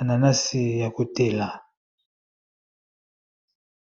ananasi ya kotela